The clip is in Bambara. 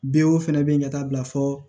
Be o fɛnɛ be yen ka taa bila fɔ